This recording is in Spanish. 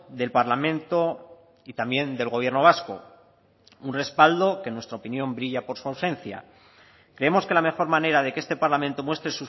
del parlamento y también del gobierno vasco un respaldo que en nuestra opinión brilla por su ausencia creemos que la mejor manera de que este parlamento muestre